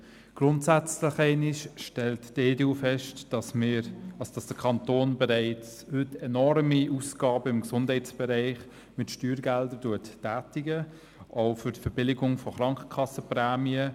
Grundsätzlich einmal stellt die EDUFraktion fest, dass der Kanton bereits heute im Gesundheitsbereich enorme Ausgaben mit Steuergeldern tätigt, auch für die Verbilligung von Krankenkassenprämien.